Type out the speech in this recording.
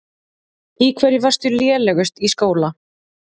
Í hverju varstu lélegust í skóla?